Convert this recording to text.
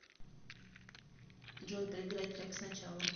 джой проиграть трек сначала